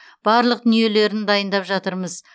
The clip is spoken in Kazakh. барлық дүниелерін дайындап жатырмыз